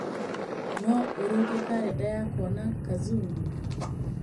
no ũrũnge kalenda yakwa na kazungu